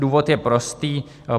Důvod je prostý.